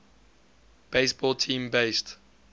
baseball team based